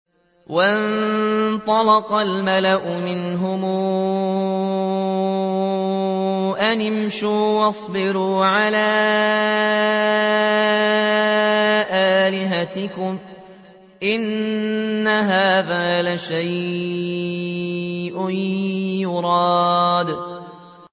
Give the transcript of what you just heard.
وَانطَلَقَ الْمَلَأُ مِنْهُمْ أَنِ امْشُوا وَاصْبِرُوا عَلَىٰ آلِهَتِكُمْ ۖ إِنَّ هَٰذَا لَشَيْءٌ يُرَادُ